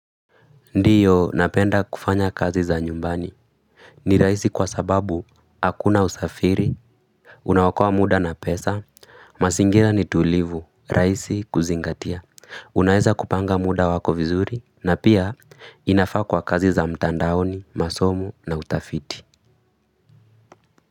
Ndiyo napenda kufanya kazi za nyumbani. Ni rahisi kwa sababu hakuna usafiri, unaokoa muda na pesa, mazingira ni tulivu, rahisi kuzingatia. Unaeza kupanga muda wako vizuri, na pia inafaa kwa kazi za mtandaoni, masomo na utafiti.